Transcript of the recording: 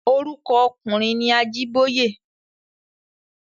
Orúkọ ọkùnrin ni Ajíbóyè.